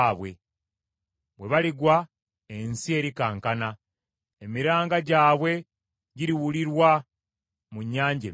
Bwe baligwa ensi erikankana, emiranga gyabwe giriwulirwa mu Nnyanja Emyufu.